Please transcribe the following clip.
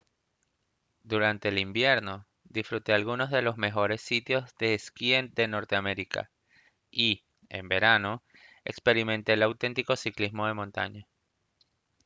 durante el invierno disfrute algunos de los mejores sitios de esquí de norteamérica y en verano experimente el auténtico ciclismo de montaña